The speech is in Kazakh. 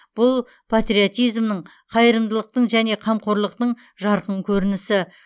бұл патриотизмнің қайырымдылықтың және қамқорлықтың жарқын көрінісі